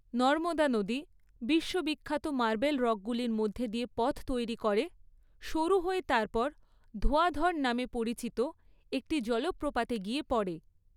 নর্মদা নদী, বিশ্ব বিখ্যাত মার্বেল রকগুলির মধ্য দিয়ে পথ তৈরি করে, সরু হয়ে তারপর ধোঁয়াধর নামে পরিচিত একটি জলপ্রপাতে গিয়ে পড়ে।